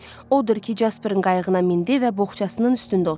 Odur ki, Casperin qayığına mindi və boğçasının üstündə oturdu.